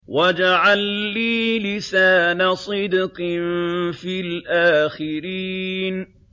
وَاجْعَل لِّي لِسَانَ صِدْقٍ فِي الْآخِرِينَ